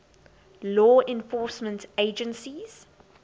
law enforcement agencies